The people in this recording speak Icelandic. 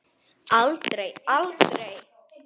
Aldrei, aldrei!